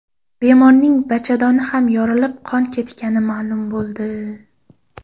Bemorning bachadoni ham yorilib, qon ketgani ma’lum bo‘ldi.